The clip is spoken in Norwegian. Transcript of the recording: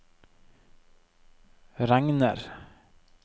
regner